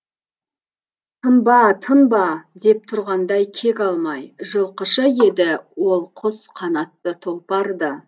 тынба тынба деп тұрғандай кек алмай жылқышы еді ол құс қанатты тұлпар ды